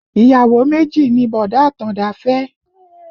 Ìyàwó méjì ni bọ̀dá Àtàndá fẹ́